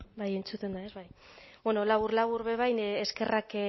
bai entzuten da ez bai bueno labur labur be bai eskerrak